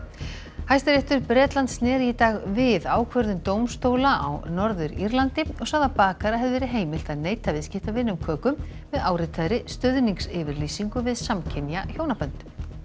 Hæstiréttur Bretlands sneri í dag við ákvörðun dómstóla á Norður Írlandi og sagði að bakara hefði verið heimilt að neita viðskiptavini um köku með áritaðri stuðningsyfirlýsingu við samkynja hjónabönd